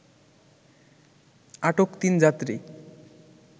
আটক তিন যাত্রী